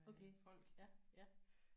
Okay ja ja